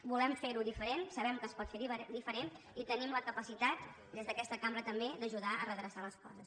volem fer ho diferent sabem que es pot fer diferent i tenim la capacitat des d’aquesta cambra també d’ajudar a redreçar les coses